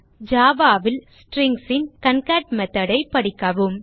Java ல் Strings ன் concat method ஐ படிக்கவும்